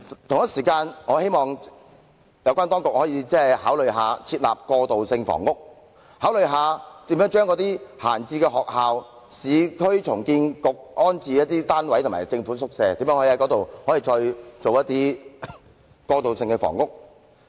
同時，我希望有關當局考慮設立過渡性房屋，考慮把空置校舍、市區重建局的安置單位和政府宿舍用作過渡性房屋。